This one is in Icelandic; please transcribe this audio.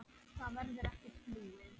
Það verður ekkert flúið.